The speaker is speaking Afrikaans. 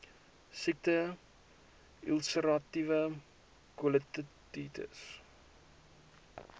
siekte ulseratiewe kolitis